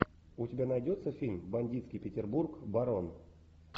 у тебя найдется фильм бандитский петербург барон